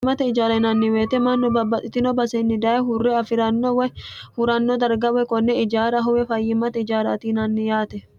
amimae ijaarainanniweyeite mannu babbaxxitino basenni daye hurre afi'ranno woy huranno darga woye konne ijaara howe fayyimmate ijaaratinanni yaate